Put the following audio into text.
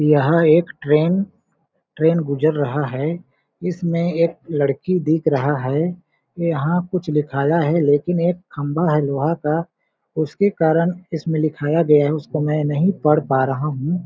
यह एक train train गुज़र रहा है इसमें एक लड़की दिख रहा है यहाँ कुछ लिखाया है लेकिन एक खंभा है लोहा का उसके कारण इसमें लिखाया गया है उसको मैं नहीं पढ़ पा रहा हूँ।